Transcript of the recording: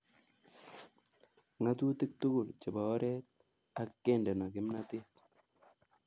Ng'atutiik tugul chebo oret ak kendeno kimnatet.